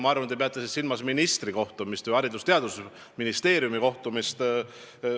Ma arvan, te peate silmas ministri või Haridus- ja Teadusministeeriumi kohtumist.